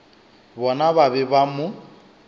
bona ba be ba mo